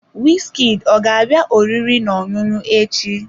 Wizkid ọ ga-abịa oriri na ọṅụṅụ echi?